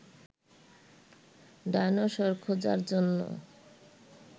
dinosaur খোঁজার জন্য